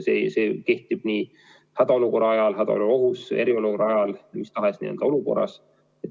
See kehtib nii hädaolukorra ajal, hädaolukorra ohu korral kui ka eriolukorra ajal – mis tahes olukorras.